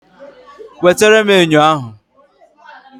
Wetere m enyo ahụ